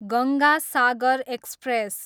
Ganga Sagar express